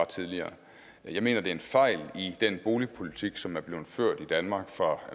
tidligere jeg mener det er en fejl i den boligpolitik som er blevet ført i danmark fra